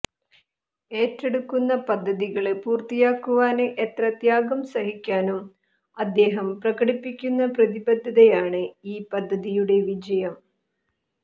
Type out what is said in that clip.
ഏറ്റെടുക്കുന്ന പദ്ധതികള് പൂര്ത്തിയാക്കുവാന് എത്ര ത്യാഗം സഹിക്കാനും അദ്ദേഹം പ്രകടിപ്പിക്കുന്ന പ്രതിബദ്ധതയാണ് ഇഇഇ പദ്ധതിയുടെ വിജയം